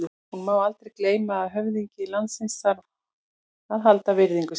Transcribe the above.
Hinu má aldrei gleyma að höfðingi landsins þarf að halda virðingu sinni.